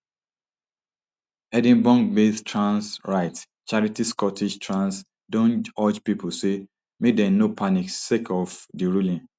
edinburghbased trans rights charity scottish trans don urge pipo say make dem no panic sake of di ruling